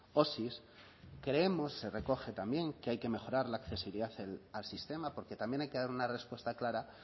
osi creemos se recoge también que hay que mejorar la accesibilidad al sistema porque también hay que dar una respuesta clara